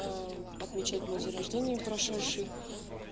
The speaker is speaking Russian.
а отмечать мой день рождения прошедший